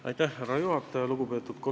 Lugupeetud härra juhataja!